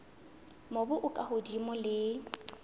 mobu o ka hodimo le